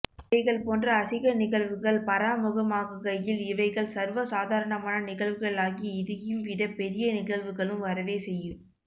இவைகள் போன்ற அசிங்க நிகழ்வுகள் பராமுகமாகுகையில் இவைகள் சர்வ சாதாரணமான நிகழ்வுகளாகி இதையும் விட பெறிய நிகழ்வுகளும் வரவே செய்யு